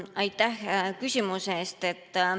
Aitäh küsimuse eest!